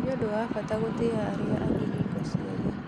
Nĩ ũndũ wa bata gũtĩa arĩa angĩ hingo ciothe.